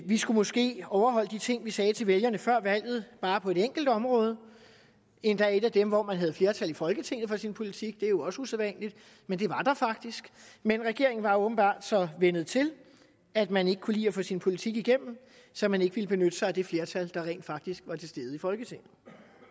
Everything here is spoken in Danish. skulle måske overholde de ting vi sagde til vælgerne før valget bare på et enkelt område endda et af dem hvor man havde flertal i folketinget for sin politik det er jo også usædvanligt men det var der faktisk men regeringen var åbenbart så vænnet til at man ikke kunne lide at få sin politik igennem så man ikke ville benytte sig af det flertal der rent faktisk var til stede i folketinget